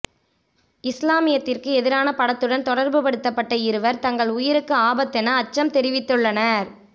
இஸ்லாமியத்திற்கு எதிரான படத்துடன் தொடர்புப்படுத்தப்பட்ட இருவர் தங்கள் உயிருக்கு ஆபத்தென அச்சம் தெரிவித்துள்ளனர்